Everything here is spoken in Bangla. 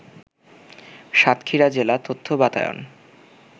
সাতক্ষীরা জেলা তথ্য বাতায়ন